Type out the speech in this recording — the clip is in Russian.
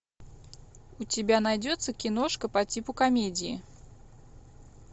у тебя найдется киношка по типу комедии